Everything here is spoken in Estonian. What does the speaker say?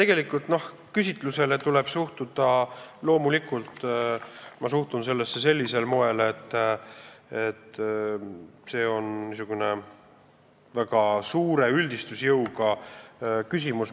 Sellesse küsitlusse ma suhtun loomulikult sellisel moel, et see on niisugune väga suure üldistusjõuga küsimus.